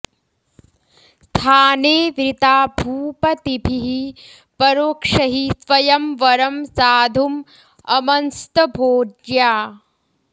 स्थाने वृता भूपतिभिः परोक्षैः स्वयंवरं साधुं अमंस्त भोज्या